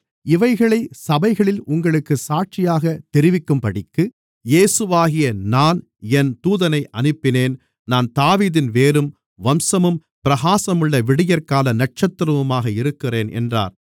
இவைகளை சபைகளில் உங்களுக்குச் சாட்சியாக தெரிவிக்கும்படிக்கு இயேசுவாகிய நான் என் தூதனை அனுப்பினேன் நான் தாவீதின் வேரும் வம்சமும் பிரகாசமுள்ள விடியற்கால நட்சத்திரமுமாக இருக்கிறேன் என்றார்